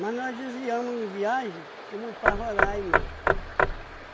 nós desviamos em viagem fomos para Roraima.